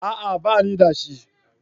A'a banida shi